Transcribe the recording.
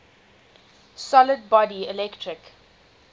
solid body electric